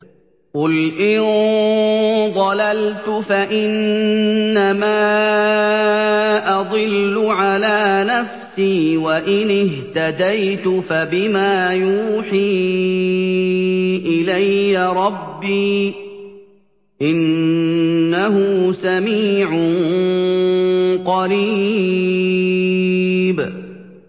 قُلْ إِن ضَلَلْتُ فَإِنَّمَا أَضِلُّ عَلَىٰ نَفْسِي ۖ وَإِنِ اهْتَدَيْتُ فَبِمَا يُوحِي إِلَيَّ رَبِّي ۚ إِنَّهُ سَمِيعٌ قَرِيبٌ